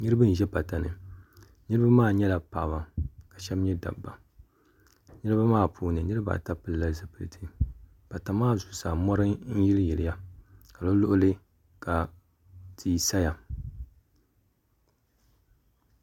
niraba n ʒɛ pata ni niraba maa nyɛla paɣaba ka shab nyɛ dabba niraba maa puuni niraba ata pilila zipiliti pata maa zuɣusaa mori n yili yiliya ka di luɣuli tia saya